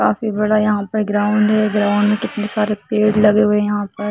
काफी बड़ा यहाँ पर ग्राउंड है ग्राउंड में कितनी सारी पेड़ लगे गए है यहाँ पर।